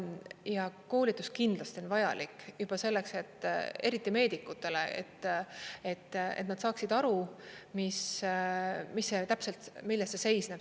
Ja koolitus kindlasti on vajalik, juba selleks, eriti meedikutele, et nad saaksid aru, milles see täpselt seisneb.